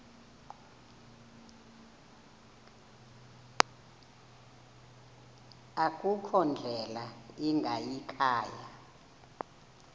akukho ndlela ingayikhaya